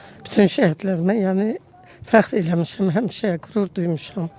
Bütün şəhidlərlə, yəni fəxr eləmişəm həmişə, qürur duymuşam.